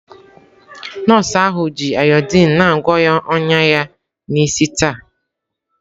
Nọọsụ ahụ ji ayodiin na-agwọ ọnya ya n'isi taa.